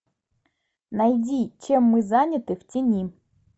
найди чем мы заняты в тени